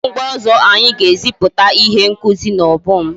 Kedu mgbe ọzọ anyị ga-eziputa ihe ngosi n'obom?